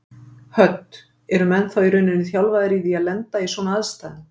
Hödd: Eru menn þá í rauninni þjálfaðir í því að lenda í svona aðstæðum?